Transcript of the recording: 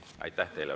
Aitäh teile!